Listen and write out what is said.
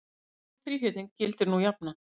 um þennan þríhyrning gildir nú jafnan